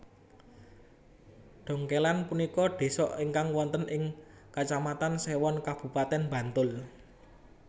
Dongkélan punika désa ingkang wonten ing Kecamatan Séwon Kabupatèn Bantul